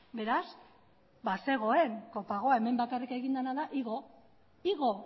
beraz bazegoen copagoa hemen bakarrik egin dena da igo igo